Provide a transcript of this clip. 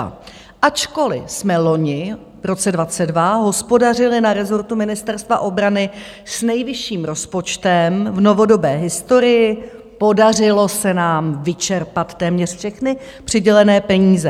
Ačkoliv jsme loni, v roce 2022, hospodařili na rezortu Ministerstva obrany s nejvyšším rozpočtem v novodobé historii, podařilo se nám vyčerpat téměř všechny přidělené peníze.